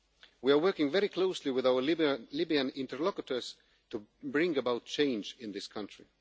We are working very closely with our Libyan interlocutors to bring about change in this country.